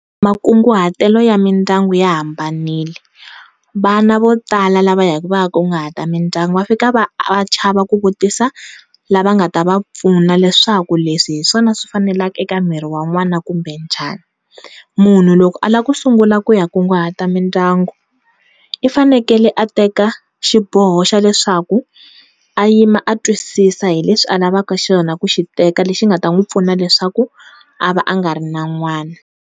Makunguhatelo ya mindyangu ya hambanile vana vo tala lava ya ku va ya nkunguhata mindyangu va fika va chava ku vutisa lava nga ta va pfuna leswaku leswi hiswona swi fanelaka eka miri wa n'wana kumbe njhani, munhu loko a lava ku sungula ku ya nkunguhata mindyangu i fanekele a teka xiboho xa leswaku a yima a twisisa hileswi a lavaka xona ku xiteka lexi nga ta n'wi pfuna ku xi teka leswaku a va a nga ri na n'wana.